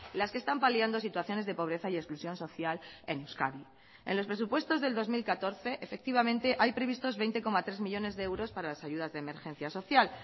las que están paliando situaciones de pobreza y exclusión social en euskadi en los presupuestos del dos mil catorce efectivamente hay previstos veinte coma tres millónes de euros para las ayudas de emergencia social